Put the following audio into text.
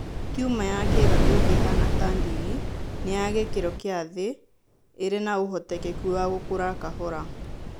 Tumor ya kĩĩga kĩu kĩhana ta ndigi nĩ ya gĩkĩro kĩa thĩ.(ĩrĩ na ũhotekeku wa gũkũra kahora).